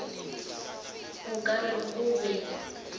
o ka re o be